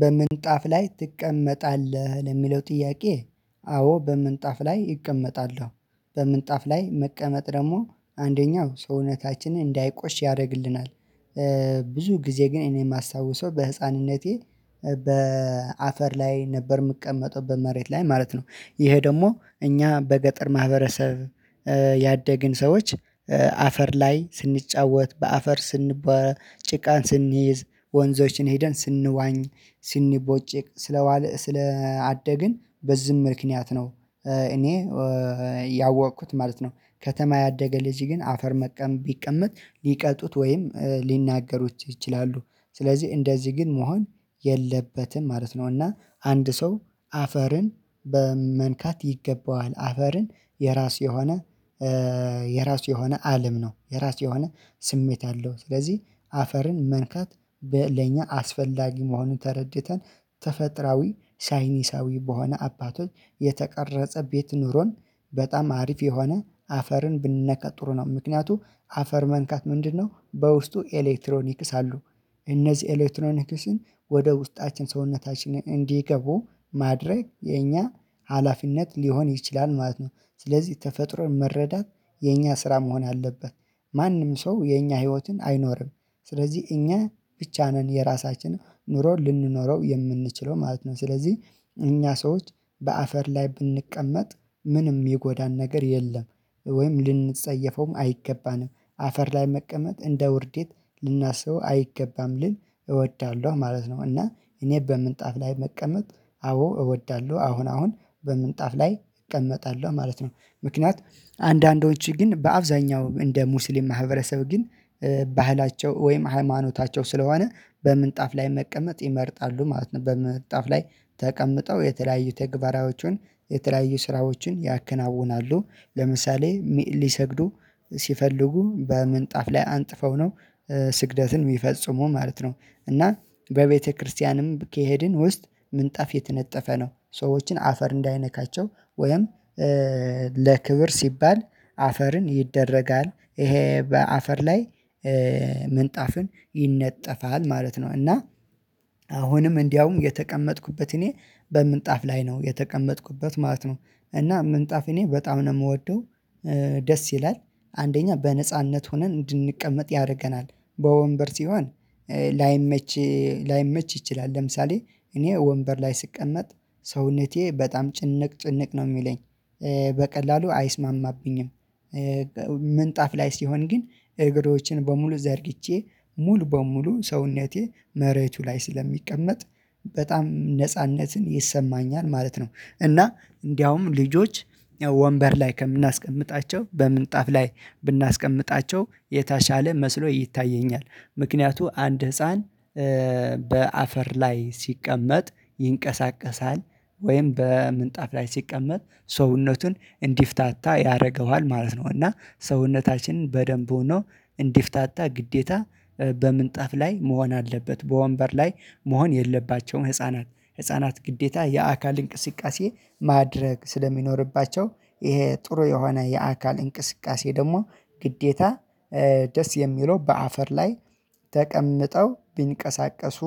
በምንጣፍ ላይ ትቀመጣለህ? ለሚለው ጥያቄ አዎ በምንጣፍ ላይ እቀመጣለሁ። በምንጣፍ ላይ መቀመጥ ደግሞ አንደኛው ሰውነታችንን እንዳይቆሽ ያደርግልናል። ብዙ ጊዜ ግን እኔ የማስታውሰው በህፃንነቴ በአፈር ላይ ነበር የምቀመጠው በመሬት ላይ ማለት ነው። ይሄ ደግሞ እኛ በገጠር ማህበረሰብ ያደግን ሰዎች። አፈር ላይ ስንጫወት በአፈር ስንቦ ጭቃን ስንይዝ ወንዞችን ሄደን ስንዋኝ ስንቦጭቅ ስለዋለ ስለአደግን በዝህ ምክንያት ነው። እኔ ያወቅኩት ማለት ነው። ከተማ ያደገ ልጅ ግን አፈር መቀመጥ ቢቀመጥ ሊቀጡት ወይም ሊናገሩት ይችላሉ። ስለዚህ እንደዚህ ግን መሆን የለበትም ማለት ነው። እና አንድ ሰው አፈርን በመንካት ይገባዋል አፈርን የራስ የሆነ የራስ የሆነ አለም ነው። የራስ የሆነ ስሜት አለው። ስለዚህ አፈርን መንካት ለኛ አስፈላጊ መሆኑን ተረድተን ተፈጥራዊ ሳይንሳዊ በሆነ አባቶች የተቀረጸ ቤት ኑሮን በጣም አሪፍ የሆነ አፈርን ብንነካ ጥሩ ነው። ምክንያቱም አፈር መንካት ምንድነው? በውስጡ ኤሌክትሮኒክ እሳሉ እነዚህ ኤሌክትሮኒክስን ወደ ውስጣችን ሰውነታችንን እንዲገቡ ማድረግ የኛ ሀላፊነት ሊሆን ይችላል ማለት ነው። ስለዚህ ተፈጥሮን መረዳት የኛ ስራ መሆን አለበት። ማንም ሰው የኛ ህይወትን አይኖርም ስለዚህ እኛ ብቻ ነን የራሳችን ኑሮ ልንኖረው የምንችለው ማለት ነው። ስለዚህ እኛ ሰዎች በአፈር ላይ ብንቀመጥ ምንም የሚጎዳን ነገር የለም። ወይም ልንጸየፈውም አይገባንም አፈር ላይ መቀመጥ እንደ ውርዴት ልናስበው አይገባም ልል እወዳለሁ ማለት ነው። እና እኔ በምንጣፍ ላይ መቀመጥ አዎ እወዳለሁ አሁን አሁን በምንጣፍ ላይ እቀመጣለሁ ማለት ነው። ምክንያት አንዳንዶች ግን በአብዛኛው እንደ ሙስሊም ማህበረሰብ ግን ባህላቸው ወይም ሃይማኖታቸው ስለሆነ በምንጣፍ ላይ መቀመጥ ይመርጣሉ ማለት ነው። በምንጣፍ ላይ ተቀምጠው የተለያዩ ተግባራዎችን የተለያዩ ስራዎችን ያከናውናሉ። ለምሳሌ ሊሰግዱ ሲፈልጉ በምንጣፍ ላይ አንጥፈው ነው ስግደትን የሚፈጽሙ ማለት ነው። እና በቤተክርስቲያንም ከሄድን ውስጥ ምንጣፍ የተነጠፈ ነው። ሰዎችን አፈር እንዳይነካቸው ወይም ለክብር ሲባል አፈርን ይደረጋል ይሄ በአፈር ላይ ምንጣፍን ይነጠፋል ማለት ነው። እና አሁንም እንዲያውም የተቀመጥኩበት እኔ በምንጣፍ ላይ ነው የተቀመጥኩበት ማለት ነው። እና ምንጣፍ እኔ በጣም ነው የምወደው ደስ ይላል። አንደኛ በነጻነት ሆነን እንድንቀመጥ ያደርገናል በወንበር ሲሆን ላይመች ይችላል። ለምሳሌ እኔ ወንበር ላይ ስቀመጥ ሰውነቴ በጣም ጭንቅ ጭንቅ ነው የሚለኝ በቀላሉ አይስማማብኝም። ምንጣፍ ላይ ሲሆን ግን እግሮችን በሙሉ ዘርግቼ ሙሉ በሙሉ ሰውነቴ መሬቱ ላይ ስለሚቀመጥ በጣም ነጻነትን ይሰማኛል ማለት ነው። እና እንደውም ልጆች ወንበር ላይ ከምናስቀምጣቸው በምንጣፍ ላይ ብናስቀምጣቸው የተሻለ መስሎ ይታየኛል። ምክንያቱ አንድ ህፃን በአፈር ላይ ሲቀመጥ ይንቀሳቀሳል ወይም በምንጣፍ ላይ ሲቀመጥ ሰውነቱን እንዲፍታታ ያደርገዋል ማለት ነው። እና ሰውነታችንን በደንብ ሆኖ እንዲፍታታ ግዴታ በምንጣፍ ላይ መሆን አለበት። በወንበር ላይ መሆን የለባቸውም ህፃናት ህፃናት ግዴታ የአካል እንቅስቃሴ ማድረግ ስለሚኖርባቸው። ይሄ ጥሩ የሆነ የአካል እንቅስቃሴ ደግሞ ግዴታ ደስ የሚለው በአፈር ላይ ተቀምጠው ቢንቀሳቀሱ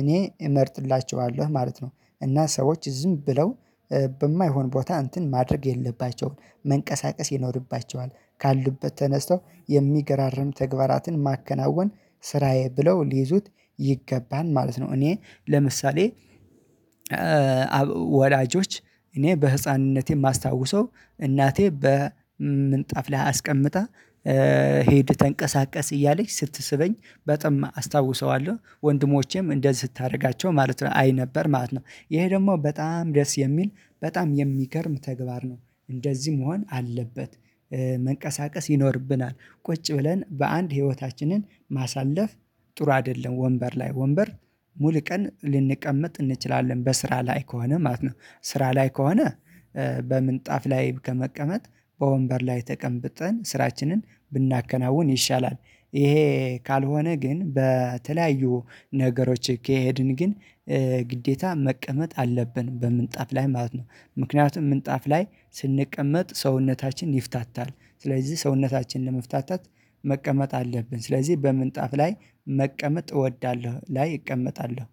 እኔ እመርጥላቸዋለሁ ማለት ነው። እና ሰዎች ዝም ብለው በማይሆን ቦታ እንትን ማድረግ የለባቸውም መንቀሳቀስ ይኖርባቸዋል ካሉበት ተነስተው የሚገራርም ተግባራትን ማከናወን ስራዬ ብለው ሊይዙት ይገባል ማለት ነው። እኔ ለምሳሌ ወላጆች እኔ በህፃንነቴ የማስታውሰው እናቴ በምንጣፍ ላይ አስቀምጣ ሂድ ተንቀሳቀስ እያለች ስትስበኝ በጠማ አስታውሰዋለሁ ወንድሞቼም እንደዚህ ስታደርጋቸው ማለት ነው። አይ ነበር ማለት ነው። ይሄ ደግሞ በጣም ደስ የሚል በጣም የሚገርም ተግባር ነው። እንደዚህ መሆን አለበት። መንቀሳቀስ ይኖርብናል ቁጭ ብለን በአንድ ህይወታችንን ማሳለፍ ጥሩ አይደለም። ወንበር ላይ ወንበር ሙሉ ቀን ልንቀመጥ እንችላለን በስሥራ ላይ ከሆነ ማለት ነው። ስራ ላይ ከሆነ በምንጣፍ ላይ ከመቀመጥ በወንበር ላይ ተቀምጠን ስራችንን ብናከናውን ይሻላል። ይሄ ካልሆነ ግን በተለያዩ ነገሮች ከሄድን ግን ግዴታ መቀመጥ አለብን በምንጣፍ ላይ ማለት ነው። ምክንያቱም ምንጣፍ ላይ ስንቀመጥ ሰውነታችን ይፍታታል። ስለዚህ ሰውነታችን ለመፍታት መቀመጥ አለብን። ስለዚህ በምንጣፍ ላይ መቀመጥ እወዳለሁ። ላይ እቀመጣለሁ